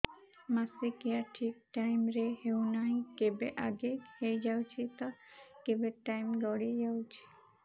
ମାସିକିଆ ଠିକ ଟାଇମ ରେ ହେଉନାହଁ କେବେ ଆଗେ ହେଇଯାଉଛି ତ କେବେ ଟାଇମ ଗଡି ଯାଉଛି